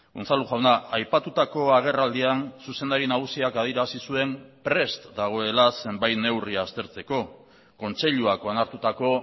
unzalu jauna aipatutako agerraldian zuzendari nagusiak adierazi zuen prest dagoela zenbait neurri aztertzeko kontseiluak onartutako